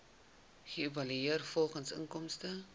geëvalueer volgens inkomste